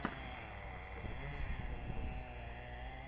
мастер класс тек бокс